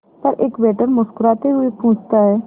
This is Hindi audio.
पर एक वेटर मुस्कुराते हुए पूछता है